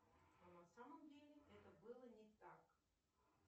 а на самом деле это было не так